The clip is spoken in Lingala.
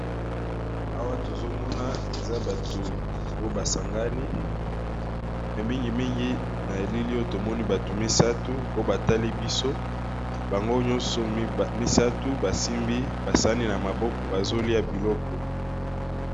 Awa tozo mona eza bato oyo ba sangani, me mingi mingi na elili oyo tomoni bato misatu oyo ba tali biso bango nyonso misatu ba simbi ba sani na maboko bazo lia biloko.